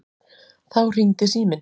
Þá hringdi síminn.